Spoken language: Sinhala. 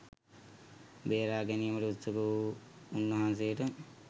බේරා ගැනීමට උත්සුක වූ උන්වහන්සේට